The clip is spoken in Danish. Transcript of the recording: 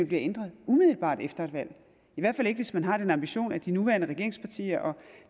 bliver ændret umiddelbart efter et valg i hvert fald ikke hvis man har den ambition at de nuværende regeringspartier og